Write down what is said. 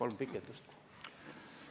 Aivar Kokk Isamaa fraktsiooni nimel.